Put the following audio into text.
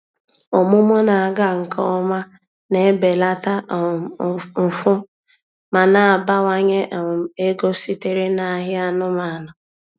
Ọmụmụ na-aga nke ọma na-ebelata um mfu ma na-abawanye um ego sitere n'ahịa anụmanụ.